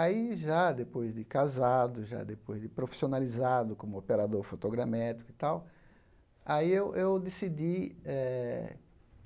Aí, já depois de casado, já depois de profissionalizado como operador fotogramétrico e tal, aí eu eu decidi eh